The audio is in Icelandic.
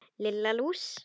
Lilla lús!